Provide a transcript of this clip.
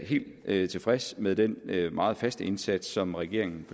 helt tilfreds med den meget faste indsats som regeringen